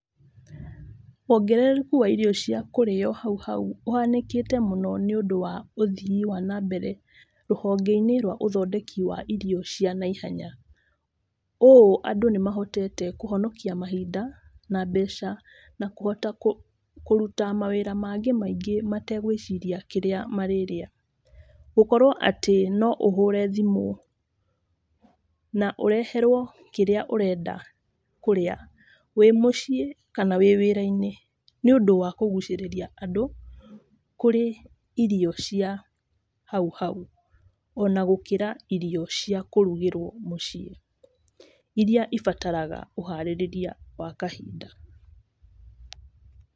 Wongerereku wa irio cia kũrĩo hau hau ũhanĩkĩte mũno nĩ ũndũ wa ũthii wa nambere rũhonge-inĩ rwa ũthondeki wa irio cia naihenya. Ũũ andũ nĩmahotete kũhonokia mahinda na mbeca, na kũhota kũruta mawĩra maingĩ metegũĩciria kĩrĩa marĩrĩa. Gũkorwo atĩ no ũhũre thimũ na ũreherwo kĩrĩa ũrenda kũrĩa, wĩmũciĩ kana wĩ wĩra-inĩ, nĩũndũ wa kũgũcĩrĩria andũ kũrĩ irio cia hau hau. Ona gũkĩra irio cia kũrugĩrwo mũciĩ, iria cibataraga ũharĩrĩria wa kahinda.